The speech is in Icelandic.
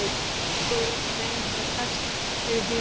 Dór var oft með einhverja pest þegar ég heyrði í henni.